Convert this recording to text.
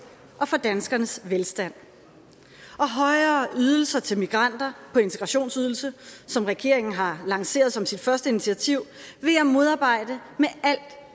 og for danskernes velstand og højere ydelser til migranter på integrationsydelse som regeringen har lanceret som sit første initiativ vil jeg modarbejde